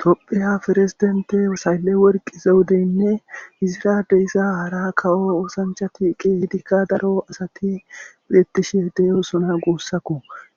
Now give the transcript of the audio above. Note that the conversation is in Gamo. tophiya forezidente saylle worqizewudeynne izira deyiza hara kawo oosanchati qeehidikka daro asati peettishe deyosona guussakku